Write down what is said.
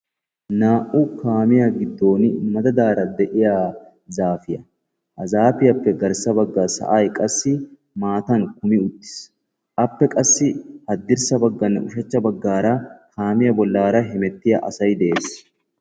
Naa'u kaamiya giddon madaddara de'iya zaafe de'ees. Hagaappe garssa bagan maattay kummi uttiis appe hadirssanne ushshachcha bagan hemettiya asay de'ees.